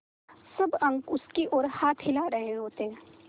सब अंक उसकी ओर हाथ हिला रहे होते